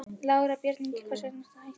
Lára: Björn Ingi, hvers vegna ertu að hætta?